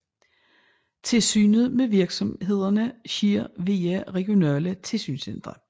Tilsynet med virksomhederne sker via regionale tilsynscentre